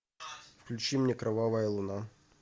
включи мне кровавая луна